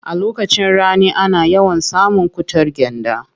A lokacin rani ana yawan samun cutar gyanda.